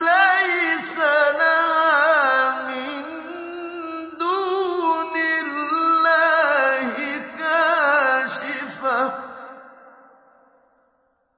لَيْسَ لَهَا مِن دُونِ اللَّهِ كَاشِفَةٌ